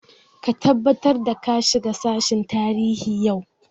Ka tabbatar da ka shiga sashen tarihi yau!